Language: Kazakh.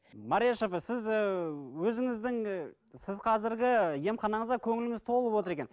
марияш апа сіз ііі өзіңіздің сіз қазіргі емханаңызға көңіліңіз толып отыр екен